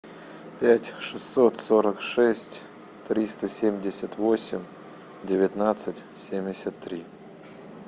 пять шестьсот сорок шесть триста семьдесят восемь девятнадцать семьдесят три